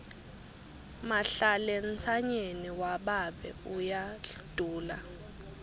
mahlalentsanyeni wababe uyadula